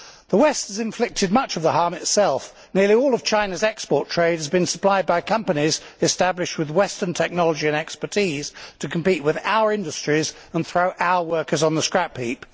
The West has inflicted much of the harm itself, as nearly all of China's export trade has been supplied by companies established with Western technology and expertise to compete with our industries and throw our workers on the scrap heap.